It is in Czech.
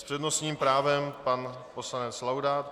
S přednostním právem pan poslanec Laudát.